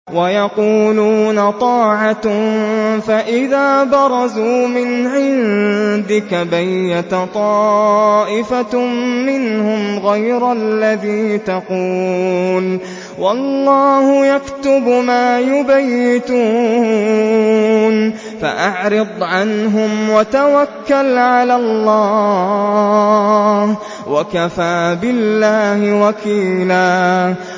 وَيَقُولُونَ طَاعَةٌ فَإِذَا بَرَزُوا مِنْ عِندِكَ بَيَّتَ طَائِفَةٌ مِّنْهُمْ غَيْرَ الَّذِي تَقُولُ ۖ وَاللَّهُ يَكْتُبُ مَا يُبَيِّتُونَ ۖ فَأَعْرِضْ عَنْهُمْ وَتَوَكَّلْ عَلَى اللَّهِ ۚ وَكَفَىٰ بِاللَّهِ وَكِيلًا